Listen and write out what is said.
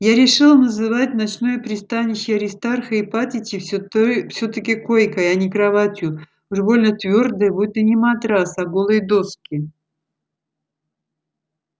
я решил называть ночное пристанище аристарха ипатьевича всё той всё-таки койкой а не кроватью уж больно твёрдая будто не матрас а голые доски